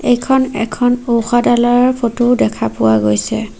এইখন এখন ঔষধালয়ৰ ফটো দেখা পোৱা গৈছে।